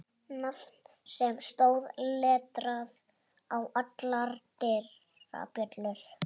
Nafn sem stóð letrað á allar dyrabjöllur.